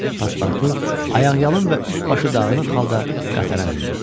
Paspartu ayaqyalın və üst-başı dağılmış halda qatara mindi.